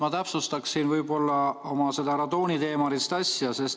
Ma täpsustaksin oma seda radooniteemalist asja.